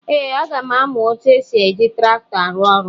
Ee, aga m amụ etu esi eji traktọ arụ ọrụ.